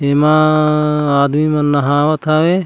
एमा आदमी मन नहावत हवे।